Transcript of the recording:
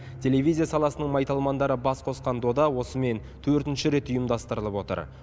телевизия саласының майталмандары бас қосқан дода осымен төртінші рет ұйымдастырылып отыр